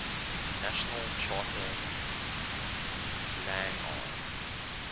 national charter lang ar